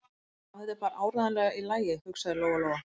Já, þetta er bara áreiðanlega í lagi, hugsaði Lóa-Lóa.